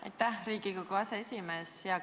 Aitäh, Riigikogu aseesimees!